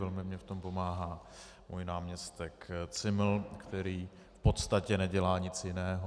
Velmi mi v tom pomáhá můj náměstek Zimmel, který v podstatě nedělá nic jiného.